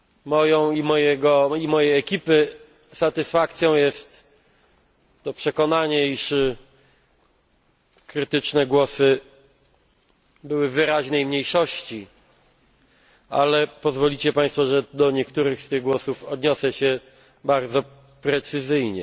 Moją i mojej ekipy satysfakcją jest przekonanie, iż krytyczne głosy były w wyraźnej mniejszości, ale pozwolą Państwo, że do niektórych z tych głosów odniosę się bardzo precyzyjnie.